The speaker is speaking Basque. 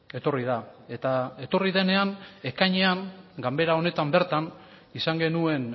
etorri da eta etorri denean ekainean ganbera honetan bertan izan genuen